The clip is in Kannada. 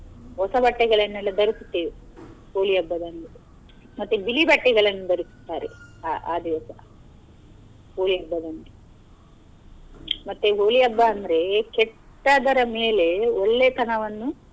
ಹೊಸ ಬಟ್ಟೆಗಳನ್ನೆಲ್ಲ ಧರಿಸುತ್ತೇವೆ Holi ಹಬ್ಬದಂದು ಮತ್ತೆ ಬಿಳಿ ಬಟ್ಟೆಗಳನ್ನು ಧರಿಸುತ್ತಾರೆ ಅ ಅ ದಿವಸ Holi ಹಬ್ಬದಂದು ಮತ್ತೆ Holi ಹಬ್ಬ ಅಂದ್ರೆ ಕೆಟ್ಟದರ ಮೇಲೆ ಒಳ್ಳೆ ತನವನ್ನು.